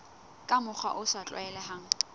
ka mokgwa o sa tlwaelehang